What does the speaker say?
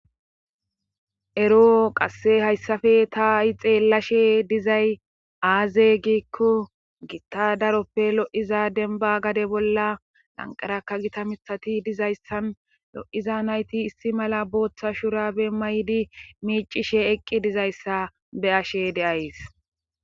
Ero qasse hayssafe taai xeellashe dizay aaze giikko gitta daroppe lo'iza denba gade bolla lanqarakka gita mithati dizayssan lo'iza nayti issi mala booththa shurabe maydi miicishe eqqi dizayssa be ashe deays.